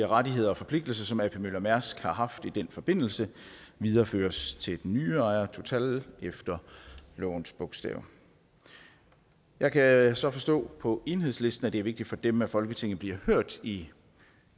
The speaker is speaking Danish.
rettigheder og forpligtelser som ap møller mærsk har haft i den forbindelse videreføres til den nye ejer total efter lovens bogstav jeg kan så forstå på enhedslisten at det er vigtigt for dem at folketinget bliver hørt i